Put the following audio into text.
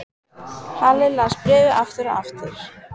Halli las bréfið aftur og aftur.